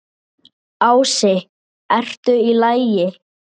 Ási: ERTU Í LAGI?